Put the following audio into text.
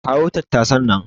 Kawo tattasan nan.